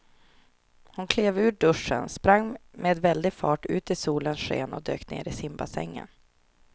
Hon klev ur duschen, sprang med väldig fart ut i solens sken och dök ner i simbassängen.